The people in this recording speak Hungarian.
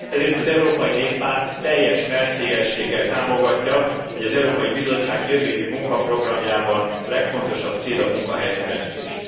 Ezért az Európai Néppárt teljes mellszélességgel támogatja, hogy az Európai Bizottság jövő évi munkaprogramjában legfontosabb cél a munkahelyteremtés.